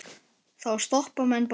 Þá stoppa menn bara.